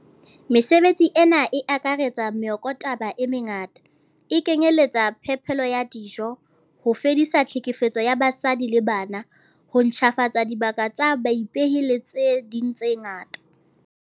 Mesebetsi ena e akaretsa meokotaba e me ngata, e kenyeletsang phepelo ya dijo, ho fedisa tlhekefetso ya basadi le bana, ho ntjhafatsa dibaka tsa baipei le tse ding tse ngata.